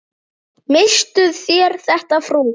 Misstuð þér þetta, frú!